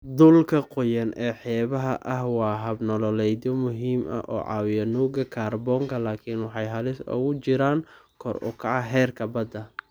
Dhulka qoyan ee xeebaha ah waa hab-nololeedyo muhiim ah oo caawiya nuuga kaarboonka laakiin waxay halis ugu jiraan kor u kaca heerka badda.